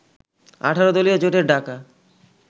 ১৮ দলীয় জোটের ডাকা